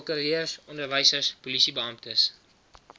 prokureurs onderwysers polisiebeamptes